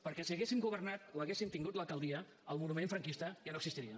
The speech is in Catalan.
perquè si haguessin governat o haguessin tingut l’alcaldia el monument franquista ja no existiria